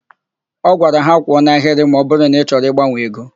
Ọ gwara ha. "kwụọ n'ahịrị ma ọbụrụ na ị chọrọ ịgbanwe ego"!